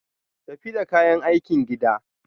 Tafi da kayan aikin gida.